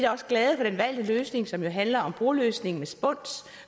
også glade for den valgte løsning som jo handler om broløsning med spuns